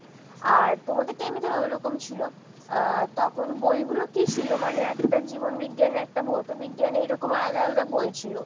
আর তোমাদের এমনি ধরো ঐরকম ছিল আর তখন বইগুলো কি ছিল? মানে একটা জীবন বিজ্ঞান একটা ভৌত বিজ্ঞান এইরকম আলাদা আলাদা বই ছিল?